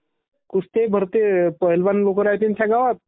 कुस्त्या बी भरते..पैलवान लोकं राहाते त्याच्यावर...